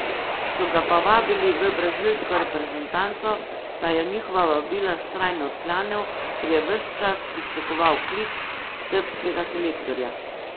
So ga pa vabili v brazilsko reprezentanco, pa je njihova vabila vztrajno odklanjal, ker je ves čas pričakoval klic srbskega selektorja.